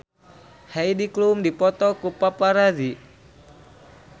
Heidi Klum dipoto ku paparazi